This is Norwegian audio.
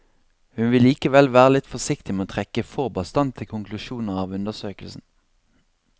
Hun vil likevel være litt forsiktig med å trekke for bastante konklusjoner av undersøkelsen.